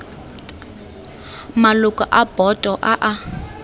maloko a boto a a